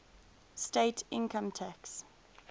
state income tax